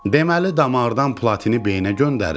Deməli, damardan platini beynə göndərirlər.